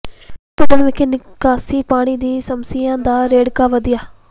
ਭੰੂਦੜ ਵਿਖੇ ਨਿਕਾਸੀ ਪਾਣੀ ਦੀ ਸਮੱਸਿਆ ਦਾ ਰੇੜਕਾ ਵਧਿਆ